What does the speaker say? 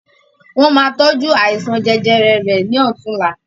Wọn má tọju àìsàn jẹjẹrẹ rẹ̀ ni ọ̀tunla